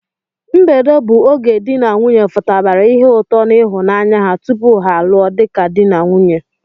mbedo bụ oge di n'nwunye futabara ihe ụtọ n'ịhụnanya ha tupu ha lụọ dika di ka di n'nwunye.